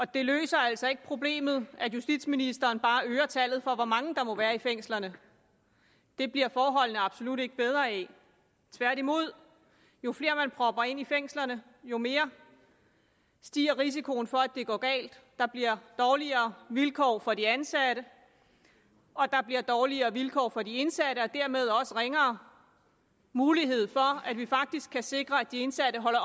det løser altså ikke problemet at justitsministeren bare øger tallet for hvor mange der må være i fængslerne det bliver forholdene absolut ikke bedre af tværtimod jo flere man propper ind i fængslerne jo mere stiger risikoen for at det går galt der bliver dårligere vilkår for de ansatte og der bliver dårligere vilkår for de indsatte og dermed også ringere mulighed for at vi faktisk kan sikre at de indsatte holder